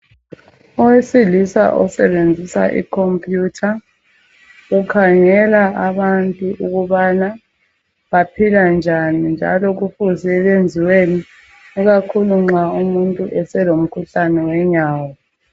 Owesilisa osebenzisa iComputer ukhangela abantu ukubana baphila njani njalo kufuze benziweni ikakhulu nxa umuntu eselomkhuhlane wenyawo.